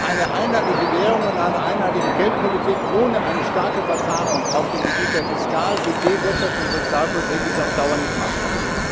Eine einheitliche Währung und eine einheitliche Geldpolitik ohne eine starke Verzahnung auf dem Gebiet der Fiskal Budget Wirtschafts und Sozialpolitik ist auf Dauer nicht machbar.